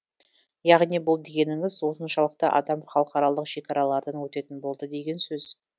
яғни бұл дегеніңіз осыншалықты адам халықаралық шекаралардан өтетін болады деген сөз